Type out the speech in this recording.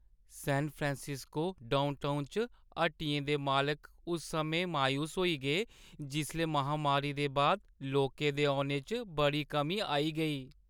सैन Francisco downtown च हट्टियें दे मालक उस समें मायूस होई गे जिसलै महामारी दे बाद लोकें दे औने च बड़ी कमी आई गेई।